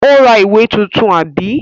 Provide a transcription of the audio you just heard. Ó ra ìwé tuntun, àbí?